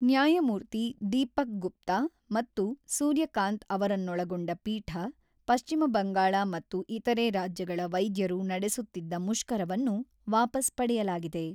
ನ್ಯಾಯಮೂರ್ತಿ ದೀಪಕ್ ಗುಪ್ತಾ ಮತ್ತು ಸೂರ್ಯಕಾಂತ್ ಅವರನ್ನೊಳಗೊಂಡ ಪೀಠ, ಪಶ್ಚಿಮಬಂಗಾಳ ಮತ್ತು ಇತರೆ ರಾಜ್ಯಗಳ ವೈದ್ಯರು ನಡೆಸುತ್ತಿದ್ದ ಮುಷ್ಕರವನ್ನು ವಾಪಸ್ ಪಡೆಯಲಾಗಿದೆ.